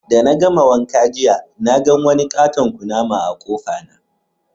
De na gama wanka jiya ,na gan wani ƙaton ƙunama a'kofa na.